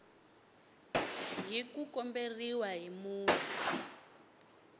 hi ku komberiwa hi munhu